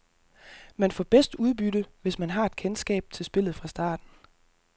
Man får bedst udbytte, hvis man har et kendskab til spillet fra starten.